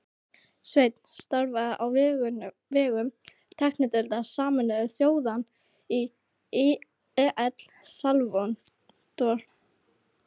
Sveinn starfaði á vegum tæknideildar Sameinuðu þjóðanna í El Salvador